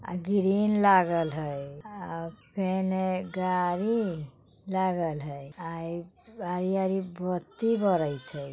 अ grill लागल हइ। अ फेन एक गाड़ी लागल हइ आरी-आरी बत्ती बरैत हइ।